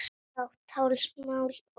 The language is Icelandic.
Blátt hálsmál og